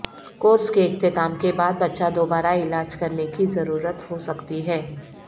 course کے اختتام کے بعد بچہ دوبارہ علاج کرنے کی ضرورت ہو سکتی ہے